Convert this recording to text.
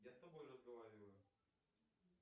я с тобой разговариваю